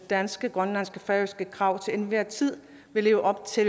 danske grønlandske og færøske krav til enhver tid vil leve op til